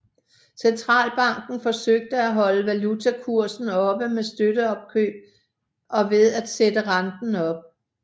Centralbanken forsøgte at holde valutakursen oppe med støtteopkøb og ved at sætte renten op